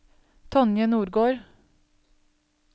Tonje Nordgård